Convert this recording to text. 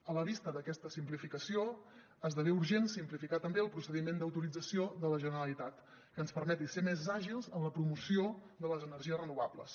a la vista d’aquesta simplificació esdevé urgent simplificar també el procediment d’autorització de la generalitat que ens permeti ser més àgils en la promoció de les energies renovables